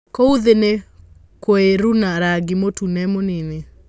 Kũu thĩ nĩ kũirũna rangĩ mũtune mũnini.